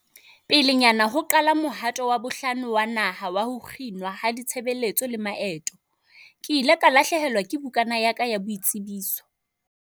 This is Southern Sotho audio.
"Pelenyana ho qala mohato wa bohlano wa naha wa ho kginwa ha ditshebeletso le maeto, ke ile ka lahlehelwa ke bukana ya ka ya boitsebiso."